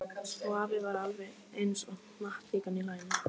Og afi var alveg eins og hnattlíkan í laginu.